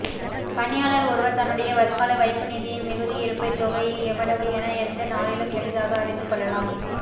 பணியாளர் ஒருவர் தன்னுடைய வருங்கால வைப்புநிதியின்மிகுதி இருப்பு தொகைஎவ்வளவு என எந்த நாளிலும் எளிதாக அறிந்து கொள்ளலாம்